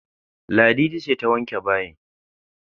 Ladidi ce ta wanke bayin